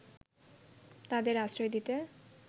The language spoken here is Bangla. তাদের আশ্রয় দিতে